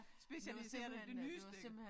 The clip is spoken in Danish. Specialiseret i det nyeste